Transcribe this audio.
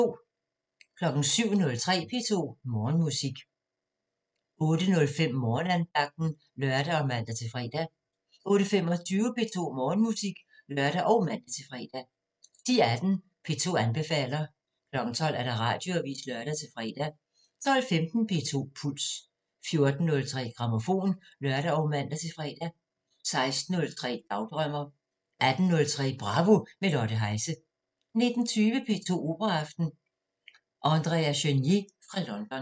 07:03: P2 Morgenmusik 08:05: Morgenandagten (lør og man-fre) 08:25: P2 Morgenmusik (lør og man-fre) 10:18: P2 anbefaler 12:00: Radioavisen (lør-fre) 12:15: P2 Puls 14:03: Grammofon (lør og man-fre) 16:03: Dagdrømmer 18:03: Bravo – med Lotte Heise 19:20: P2 Operaaften – Andrea Chenier fra London